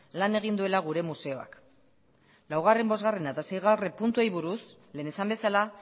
lan egin duela gure museoak laugarren bosgarren eta seigarren puntuei buruz lehen esan bezala